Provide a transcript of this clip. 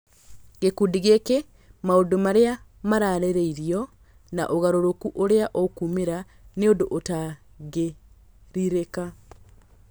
Gĩkundi gĩkĩ, maũndũ marĩa mararirio na ũgarũrũku ũrĩa ũkumĩra nĩ ũndũ ũtangĩrirĩka